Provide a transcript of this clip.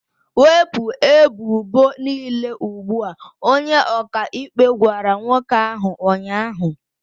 Wepụ ebubo niile ugbu a! Onye ọkaikpe gwara nwoke ahụ ụnyaahụ.